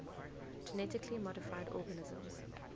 genetically modified organisms